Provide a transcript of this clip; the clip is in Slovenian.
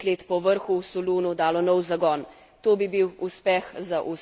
To bi bil uspeh za vse, za Evropo, ki bo le združena uspela.